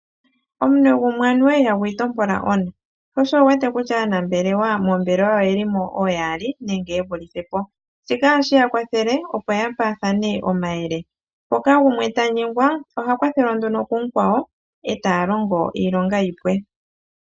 Omunwe gumwe anuwa ihagu itompola ona. Sho osho wu wete kutya aanambelewa moombelewa oye li mo ooyaali nenge ye vulithe po. Shika ohashi ya kwathele opo ya paathane omayele. Mpoka gumwe ta nyengwa oha kwathelwa nduno kumukwawo e taya longo iilonga yi pwe.